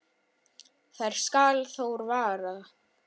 þær skal Þór vaða